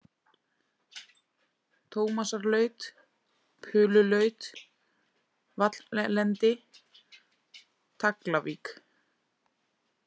Tómasarlaut, Pululaut, Valllendi, Taglavik